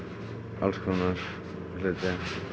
alls konar hluti